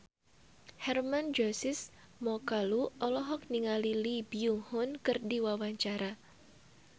Hermann Josis Mokalu olohok ningali Lee Byung Hun keur diwawancara